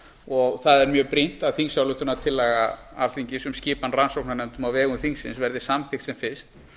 og það er mjög brýnt að þingsályktunartillaga alþingis um skipan rannsóknarnefndar á vegum þingsins verði samþykkt sem fyrst